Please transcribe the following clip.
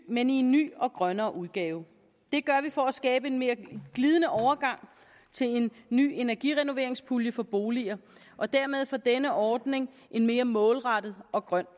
men i en ny og grønnere udgave det gør vi for at skabe en mere glidende overgang til en ny energirenoveringspulje for boliger og dermed får denne ordning en mere målrettet og grøn